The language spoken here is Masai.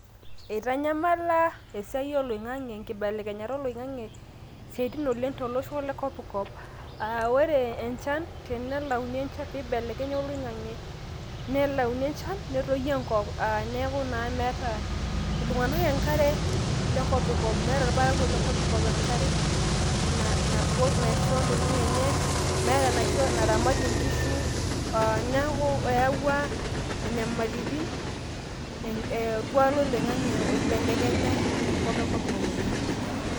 Eitanyamala esiai oloingange, enkibelekenyata oloingange siatin oleng tolosho le kopkop a ore enchan tenelayuni enchan, pibelekenya oloingange nelayuni enchan, netoyu enkop neku naa meeta iltunganak enkare le kopikop. meeta irparakuo le kopikop enkare na nabukoki naisho intokitin enye ,meeta enaramatie inkishu oo neku eyawua inyamalitin een orkwak loloingange oibelekenya tenkop e kopikop oleng.